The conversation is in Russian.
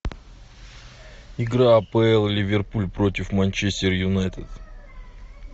игра апл ливерпуль против манчестер юнайтед